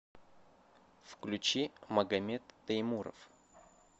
включи магамед теймуров